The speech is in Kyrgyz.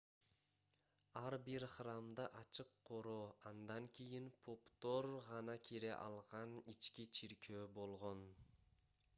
ар бир храмда ачык короо андан кийин поптор гана кире алган ички чиркөө болгон